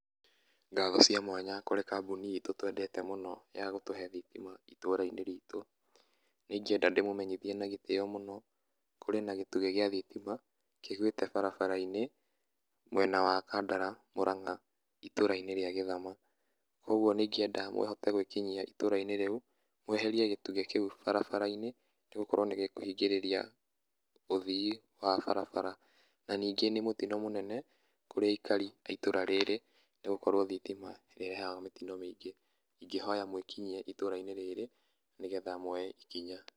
Ngatho cia mwanya kũrĩ kambuni itũ twendete mũno ya gũtũhe thitima itũũra-inĩ ritũ. Nĩ ingĩenda ndĩmũmenyithie na gĩtĩyo mũno, kũrĩ na gĩtugĩ gĩa thitima kĩgwĩte barabara-inĩ mwena wa Kandara, Murang'a, itũũra-inĩ rĩa Githama. Kwogwo nĩ ingĩenda mũhote gwĩkinyia itũũra-inĩ rĩu mweherie gĩtugĩ kĩu barabara-inĩ, nĩgũkorwo nĩgĩkũhingĩrĩria ũthii wa barabara. Na ningĩ nĩ mũtino mũnene kũrĩ aikari a itũũra rĩrĩ, nĩgũkorwo thitima nĩ ĩrehaga mĩtino mĩingĩ. Ingĩhoya mwĩkinyie itũũra-inĩ rĩrĩ nĩgetha mwoye ikinya.